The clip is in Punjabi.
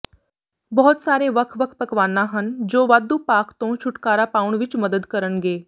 ਬਹੁਤ ਸਾਰੇ ਵੱਖ ਵੱਖ ਪਕਵਾਨਾ ਹਨ ਜੋ ਵਾਧੂ ਪਾਕ ਤੋਂ ਛੁਟਕਾਰਾ ਪਾਉਣ ਵਿੱਚ ਮਦਦ ਕਰਨਗੇ